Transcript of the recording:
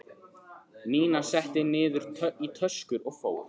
Nína setti niður í töskur og fór.